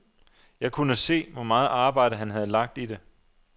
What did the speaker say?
Jeg kunne se, hvor meget arbejde, han havde lagt i det.